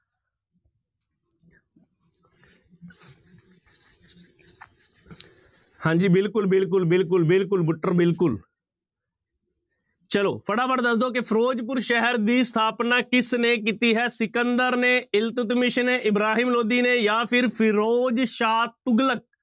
ਹਾਂਜੀ ਬਿਲਕੁਲ, ਬਿਲਕੁਲ, ਬਿਲਕੁਲ, ਬਿਲਕੁਲ, ਬੁੱਟਰ ਬਿਲਕੁਲ ਚਲੋ ਫਟਾਫਟ ਦੱਸ ਦਓ ਕਿ ਫ਼ਿਰੋਜ਼ਪੁਰ ਸ਼ਹਿਰ ਦੀ ਸਥਾਪਨਾ ਕਿਸਨੇ ਕੀਤੀ ਹੈ? ਸਿਕੰਦਰ ਨੇ, ਇਲਤੁਤਮੇਸ ਨੇ, ਇਬਰਾਹਿਮ ਲੋਧੀ ਜਾਂ ਫਿਰ ਫ਼ਿਰੋਜ਼ਸ਼ਾਹ ਤੁਗਲਕ।